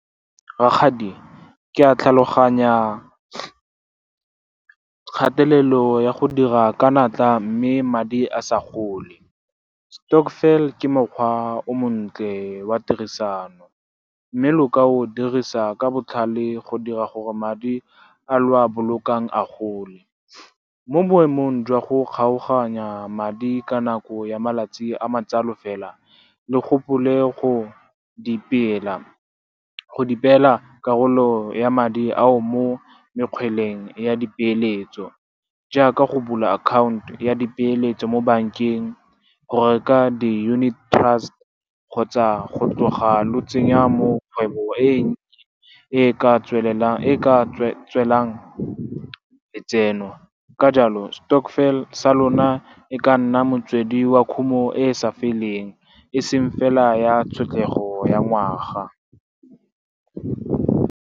Rakgadi, ke a tlhaloganya kgatelelo ya go dira ka natla, mme madi a sa gole. Stokvel ke mokgwa o montle wa tirisano, mme lo ka o dirisa ka botlhale go dira gore madi a lo a bololang a gole. Mo boemong jwa go kgaoganya madi ka nako ya malatsi a matsalo fela, le gopole go di peela karolo ya madi ao mo mekgweleng ya di peeletso, jaaka go bula akhaonto ya di peeletso mo bankeng, go reka di-unit trust, kgotsa go tloga lo tsenya mo kgwebong e e ka tswelang letseno. Ka jalo, stokvel sa lona e ka nna motswedi wa khumo e e sa feleng, e seng fela ya tlhotlego ya ngwaga.